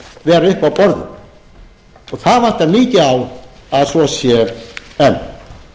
á borðum það vantar mikið á að svo sé enn